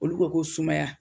Olu ko ko sumaya